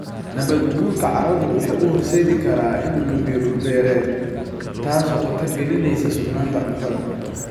Nabaadguurka carradu wuxuu horseedi karaa inuu lumiyo dhul-beereed, taasoo khatar gelinaysa sugnaanta cuntada.